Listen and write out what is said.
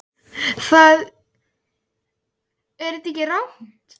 Það er í virkum sprungusveimi sem nær frá